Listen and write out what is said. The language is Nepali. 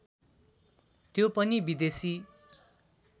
त्यो पनि विदेशी